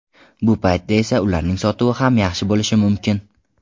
Bu paytda esa ularning sotuvi ham yaxshi bo‘lishi mumkin.